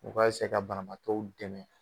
U ka ka banabaatɔw dɛmɛ